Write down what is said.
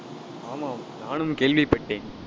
ஆமாம் நானும் கேள்விப்பட்டேன்